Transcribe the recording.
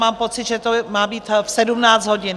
Mám pocit, že to má být v 17 hodin.